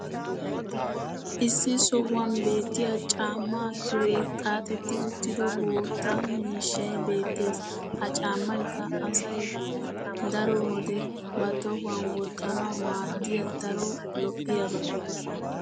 issi sohuwan beetiya caamaa kiree xaaxxetti uttido bootta miishshay beetees. ha caamaykka asay daro wode ba tohuwan wottanawu maadiya daro lo'iyaaba.